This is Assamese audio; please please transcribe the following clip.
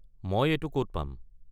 মই এইটো ক'ত পাম?